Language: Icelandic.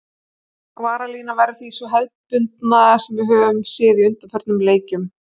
Varnarlínan verður því sú hefðbundna sem við höfum séð í undanförnum leikjum.